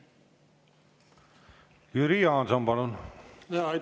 Jüri Jaanson, palun!